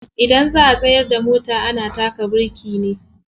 Idan za'a tsayar da mota ana taka biriki ne.